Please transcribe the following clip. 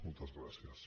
moltes gràcies